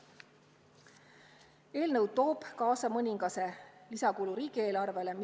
Eelnõu toob kaasa mõningase lisakulu riigieelarvele.